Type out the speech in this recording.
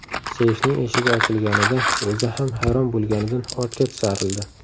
Seyfning eshigi ochilganida o‘zi ham hayron bo‘lganidan ortga tisarildi.